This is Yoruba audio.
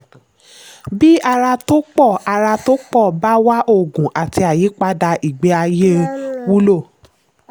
bí àrà tó pọ̀ àrà tó pọ̀ bá wà oògùn àti àyípadà ìgbé ayé wúlò.